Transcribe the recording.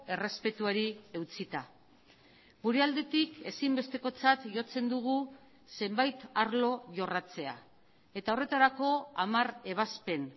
errespetuari eutsita gure aldetik ezinbestekotzat jotzen dugu zenbait arlo jorratzea eta horretarako hamar ebazpen